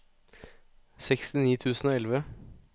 sekstini tusen og elleve